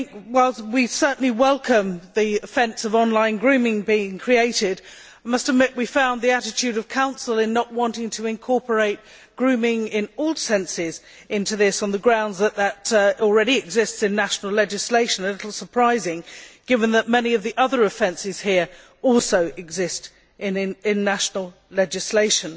Whilst we certainly welcome the offence of online grooming being created, I must admit we found the attitude of Council in not wanting to incorporate grooming in all senses into this on the grounds that it already exists in national legislation a little surprising, given that many of the other offences here also exist in national legislation.